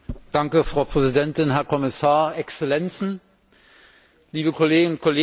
Frau Präsidentin, Herr Kommissar, Exzellenzen, liebe Kolleginnen und Kollegen!